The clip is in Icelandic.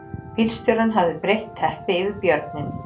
Bílstjórinn hafði breitt teppi yfir björninn